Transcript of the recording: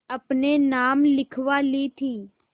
अपने नाम लिखवा ली थी